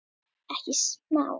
Ekkert smá.